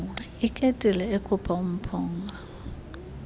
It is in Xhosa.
iketile ekhupha umphunga